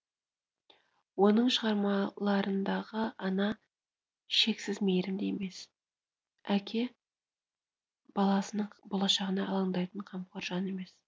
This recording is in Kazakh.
оның шығармаларындағы ана шексізмейірімді емес әке баласының болашағына алаңтайтын қамқор жан емес